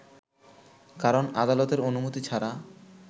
কারণ আদালতের অনুমতি ছাড়া